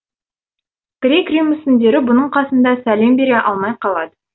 грек рим мүсіндері бұның қасында сәлем бере алмай қалады